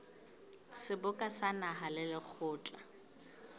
seboka sa naha le lekgotla